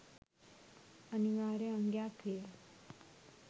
අනිවාර්ය අංගයක් විය.